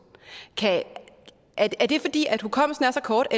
er det fordi hukommelsen er så kort